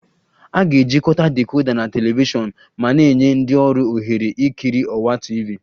A ga-ejikọta decoder na telivishọn ma na-enye ndị ọrụ ohere ikiri ọwa TV